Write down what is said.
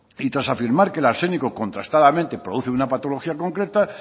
y tras afirmar que el arsénico contrastadamente produce una patología concreta